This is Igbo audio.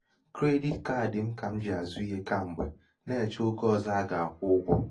kredit kaadi m kà m ji àzụ ihe kam̀gbe na-èchè ogè um ọ̀zọ a um gà-àkwụ ụgwọ̄